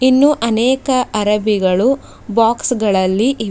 ಇನ್ನೂ ಅನೇಕ ಹರಬಿಗಳು ಬಾಕ್ಸ್ ಗಳಲ್ಲಿ ಇವೆ.